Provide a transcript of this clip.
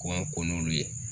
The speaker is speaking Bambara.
K'an ko n'olu ye.